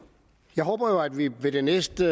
jeg håber jo at vi ved det næste